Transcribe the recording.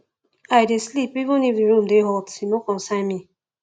i dey sleep even if di room dey hot e no concern me